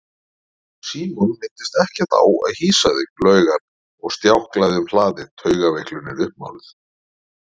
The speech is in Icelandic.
Símon minntist ekkert á að hýsa þig laug hann og stjáklaði um hlaðið, taugaveiklunin uppmáluð.